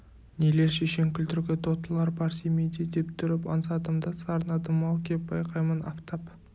нелер шешен күлдіргі тотылар бар семейде деп тұрып аңсадым да сарнадым-ау кеп байқаймын афтап